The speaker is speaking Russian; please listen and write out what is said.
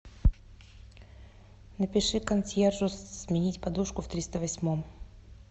напиши консьержу сменить подушку в триста восьмом